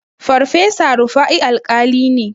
Farfesa Rufa'i Alƙali ne.